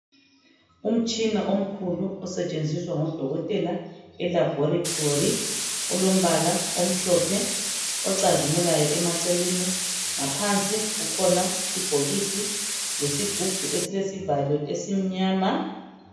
Umtshina omkhulu osetshenziswa ngodokotela elabhorithori ulombala omhlophe ocazimulayo emaceleni. Ngaphansi kukhona ibhokisi lezigunhu esilesivalo esimnyama.